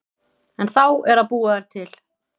En þá er að búa þær til.